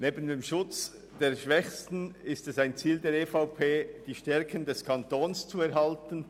Neben dem Schutz der Schwächsten gehört es zu den Zielen der EVP, die Stärken des Kantons zu erhalten.